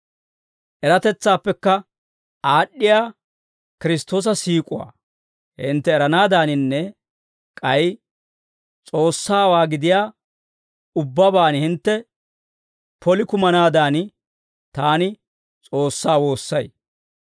Eratetsaappe aad'd'iyaa Kiristtoosa siik'uwaa hintte eranaadaaninne k'ay S'oossawaa gidiyaa ubbabaan hintte poli kumanaadan, taani S'oossaa woossay.